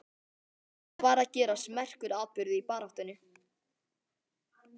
Þarna var að gerast merkur atburður í baráttunni.